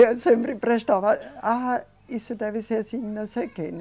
Eu sempre prestava... Ah, isso deve ser assim, não sei o quê, né